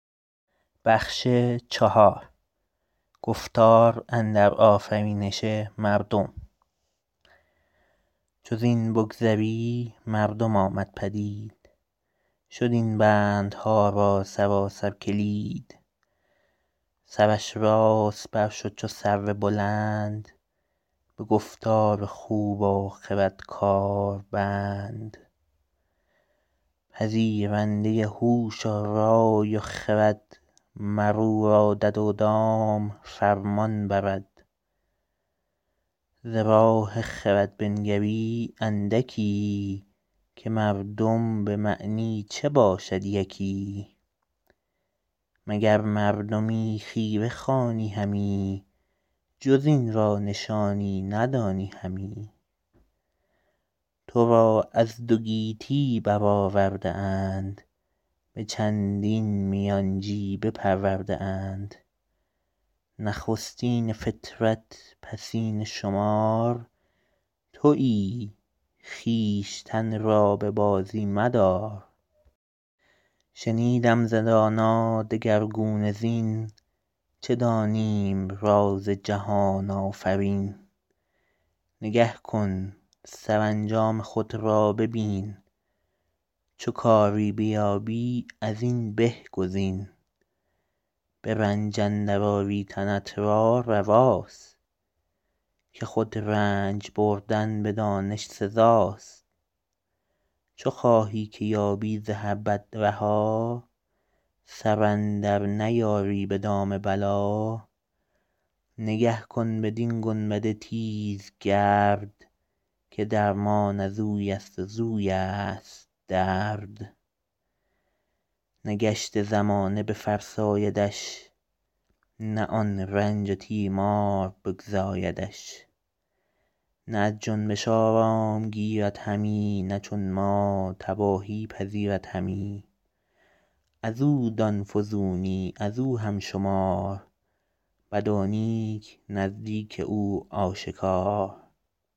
چو زین بگذری مردم آمد پدید شد این بندها را سراسر کلید سرش راست بر شد چو سرو بلند به گفتار خوب و خرد کار بند پذیرنده هوش و رای و خرد مر او را دد و دام فرمان برد ز راه خرد بنگری اندکی که مردم به معنی چه باشد یکی مگر مردمی خیره خوانی همی جز این را نشانی ندانی همی تو را از دو گیتی بر آورده اند به چندین میانچی بپرورده اند نخستین فطرت پسین شمار تویی خویشتن را به بازی مدار شنیدم ز دانا دگرگونه زین چه دانیم راز جهان آفرین نگه کن سرانجام خود را ببین چو کاری بیابی از این به گزین به رنج اندر آری تنت را رواست که خود رنج بردن به دانش سزاست چو خواهی که یابی ز هر بد رها سر اندر نیاری به دام بلا نگه کن بدین گنبد تیزگرد که درمان ازوی است و زویست درد نه گشت زمانه بفرسایدش نه آن رنج و تیمار بگزایدش نه از جنبش آرام گیرد همی نه چون ما تباهی پذیرد همی از او دان فزونی از او هم شمار بد و نیک نزدیک او آشکار